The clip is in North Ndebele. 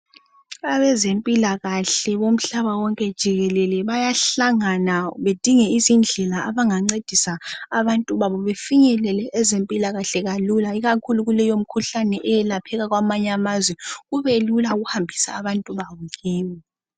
Abezempilakahle bomhlaba wonke jikelele bayahlangana bedinge izindlela abangancedisa abantu babo befinyelele ezempilakahle kalula ikakhulu kuleyo mikhuhlane eyelapheka kwamanye amazwe kubelula ukuhambisa abantu babo kibo.